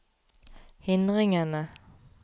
hindringene